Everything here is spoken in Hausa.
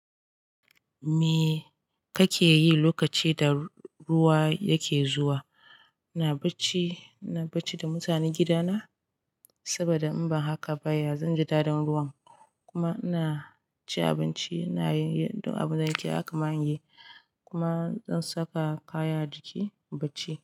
Me kake yi lokaci da ruwa yake zuwa? Ina bacci, ina bacci da mutanen gidana saboda in ba haka ba ya zan ji dadin ruwan. Kuma ina cin abinci, ina yin abin da ake yi, kuma zan saka kaya a jiki, bacci.